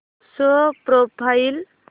show profile